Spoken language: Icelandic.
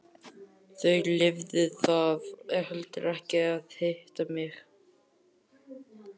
Þau lifðu það heldur ekki að hitta mig.